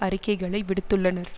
அறிக்கைகளை விடுத்துள்ளனர்